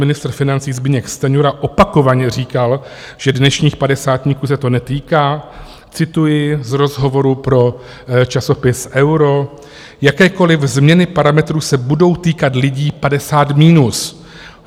Ministr financí Zbyněk Stanjura opakovaně říkal, že dnešních padesátníků se to netýká - cituji z rozhovoru pro časopis Euro: "Jakékoliv změny parametrů se budou týkat lidí 50 minus.